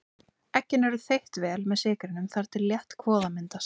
Eggin eru þeytt vel með sykrinum þar til þétt kvoða myndast.